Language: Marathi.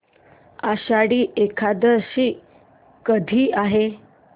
आषाढी एकादशी कधी आहे